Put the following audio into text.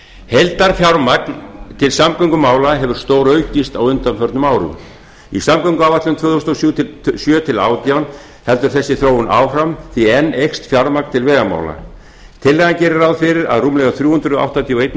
heildarfjármagn til samgöngumála hefur stóraukist á undanförnum árum í samgönguáætlun tvö þúsund og sjö til tvö þúsund og átján heldur þessi þróun áfram því enn eykst fjármagn til vegamála tillagan gerir ráð fyrir að rúmlega þrjú hundruð áttatíu og einn